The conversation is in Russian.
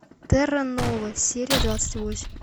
терра нова серия двадцать восемь